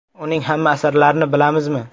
Uning hamma asarlarini bilamizmi?.